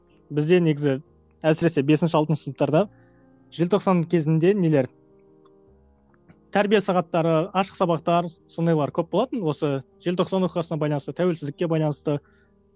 бізде негізі әсіресе бесінші алтыншы сыныптарда желтоқсан кезінде нелер тәрбие сағаттары ашық сабақтар сондайлар көп болатын осы желтоқсан оқиғасына байланысты тәуелсіздікке байланысты